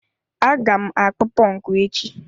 Aga m akpụ ponku echi.